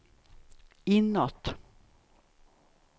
inåt